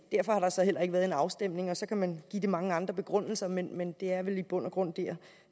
derfor har der så heller ikke været en afstemning og så kan man give det mange andre begrundelser men men det er vel i bund og grund der